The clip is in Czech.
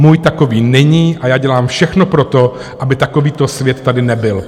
Můj takový není a já dělám všechno pro to, aby takovýto svět tady nebyl.